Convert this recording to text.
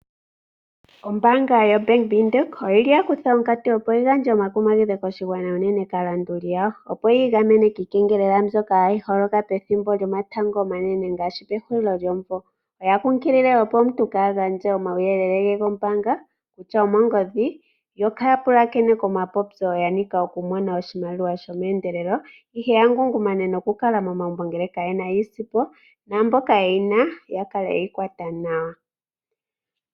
Ombaanga yobank Windhoek oya kutha onkatu yi gandje omakumagidho koshigwana unene kaalongithi yawo, opo yi igamene kiikengelela mbyoka holoka pethimbo lyomatango omanene ngaashipehulilo lyomumvo. Otayi kunkilile omuntu ka gandje omauyelele ge gombaanga kutya omongodhi yo kaya pulakene komapopyo shinasha noku mona oshimaliwa meendelelo ihe ya ngungumane yo ya kale momagumbo ngele ka yena iisimpo. Naamboka yena ya kale yeyi kwata nawa.